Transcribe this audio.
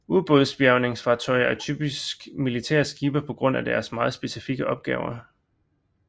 Ubådsbjærgningsfartøjer er typisk militære skibe på grund af deres meget specifikke opgave